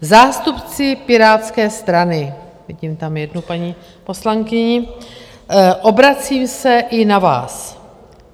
Zástupci Pirátské strany - vidím tam jednu paní poslankyni - obracím se i na vás.